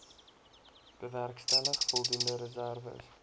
bewerkstellig voldoende reserwes